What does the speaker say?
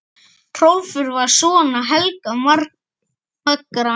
Hrólfur var sonur Helga magra.